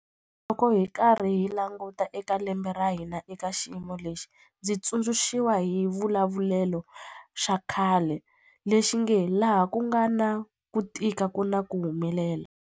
Loko hi karhi hi languta eka lembe ra hina eka xiyimo lexi, ndzi tsundzu xiwa hi xivulavulelo xa khale lexi nge 'laha ku nga na ku tika ku na ku humelela'.